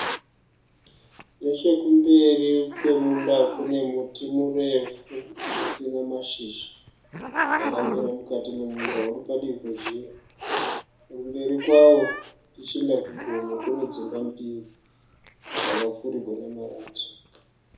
Neche kumberi kwemunda kune muti murefu usina mashizha. Wakamira mukati memunda uri padivi nezhira. Kumberi kwawo tichienda kugomo kune dzimba mbiri dzakapfirigwa nemarata.